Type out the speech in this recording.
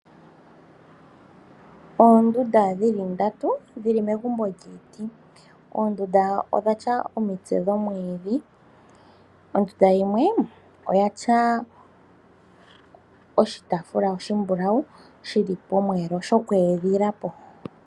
Oondunda dhi li ndatu dhi li megumbo lyiiti. Oondunda odha tya omitse dhomwiidhi. Ondunda yimwe oyi na oshitaafula oshimbulau pomweelo shoku edhila po.